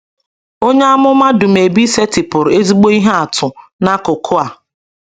Onye amụma Dumebi setịpụrụ ezigbo ihe atụ n’akụkụ a.